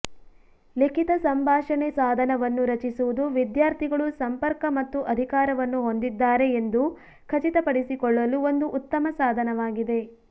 ಲಿಖಿತ ಸಂಭಾಷಣೆ ಸಾಧನವನ್ನು ರಚಿಸುವುದು ವಿದ್ಯಾರ್ಥಿಗಳು ಸಂಪರ್ಕ ಮತ್ತು ಅಧಿಕಾರವನ್ನು ಹೊಂದಿದ್ದಾರೆ ಎಂದು ಖಚಿತಪಡಿಸಿಕೊಳ್ಳಲು ಒಂದು ಉತ್ತಮ ಸಾಧನವಾಗಿದೆ